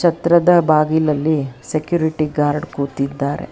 ಛತ್ರದ ಬಾಗಿಲಲ್ಲಿ security guard ಕೂತಿದ್ದಾರೆ.